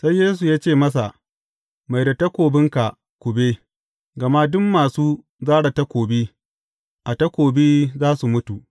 Sai Yesu ya ce, masa, Mai da takobinka kube, gama duk masu zare takobi, a takobi za su mutu.